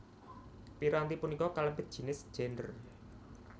Piranti punika kalebet jinis Gendèr